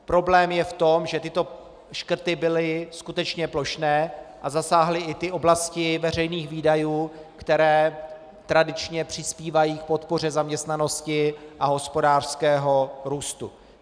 Problém je v tom, že tyto škrty byly skutečně plošné a zasáhly i ty oblasti veřejných výdajů, které tradičně přispívají k podpoře zaměstnanosti a hospodářského růstu.